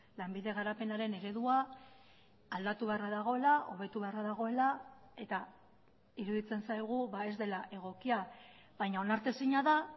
lanbide garapenaren eredua aldatu beharra dagoela hobetu beharra dagoela eta iruditzen zaigu ez dela egokia baina onartezina da